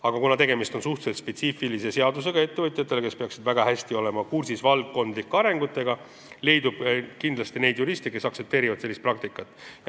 Aga kuna tegemist on suhteliselt spetsiifilise seadusega ettevõtjatele, kes peaksid väga hästi valdkondlike arengutega kursis olema, leidub kindlasti neid juriste, kes sellist praktikat aktsepteerivad.